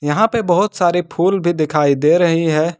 यहां पे बहुत सारे फूल भी दिखाई दे रही हैं।